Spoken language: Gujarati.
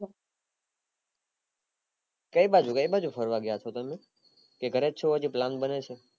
કાય બાજુ કાય બાજુ ફરવા ગયા હઈસો તમે કે ઘરેજ છો plan બને છે